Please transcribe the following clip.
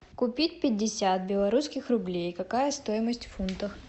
купить пятьдесят белорусских рублей какая стоимость в фунтах